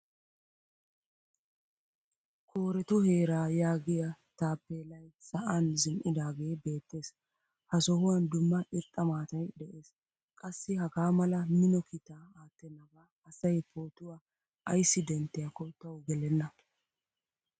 Koorettu heeraa yaagiya taappelay sa'an zin'idagee beettees. Ha sohuwan dumma irxxa maataay de'ees. Qassi hagaamala mino kiita attenaba asay pootuwaa ayssi denttiyakko tawu gelenna.